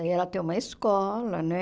E ela tem uma escola, né?